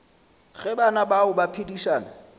ge bana bao ba phedišana